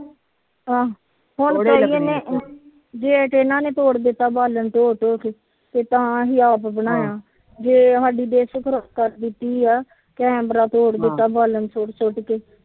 ਅਹ gate ਇਹਨਾਂ ਨੇ ਤੋੜ ਦਿੱਤਾ ਬਲਣ ਢੋਹ ਢੋਹ ਕੇ ਫਿਰ ਤਾ ਅਸੀ ਆਪ ਬਣਾਇਆ ਜੇ ਕੈਮਰਾ ਤੋੜ ਦਿੱਤਾ ਬਾਲਣ ਸੁਟ ਸੁਟ ਕੇ